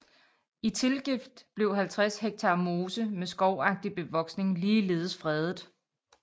I tilgift blev 50 ha mose med skovagtig bevoksning ligeledes fredet